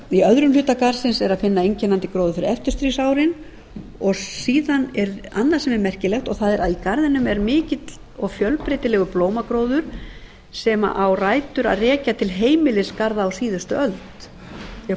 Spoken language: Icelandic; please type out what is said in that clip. í öðrum hluta garðsins er að finna einkennandi gróður fyrir eftirstríðsárin og síðan er annað sem er merkilegt að í garðinum er mikill og fjölbreytilegur blómagróður sem á rætur að rekja til heimilisgarða á síðustu öld því að